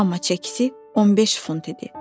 Amma çəkisi 15 funt idi.